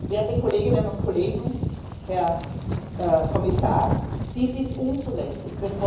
Werte Kolleginnen und Kollegen, Herr Kommissar, dies ist unzulässig!